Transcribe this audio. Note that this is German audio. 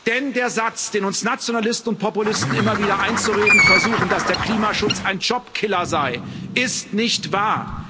Denn der Satz, den uns Nationalisten und Populisten immer wieder einzureden versuchen, dass der Klimaschutz ein Jobkiller sei, ist nicht wahr.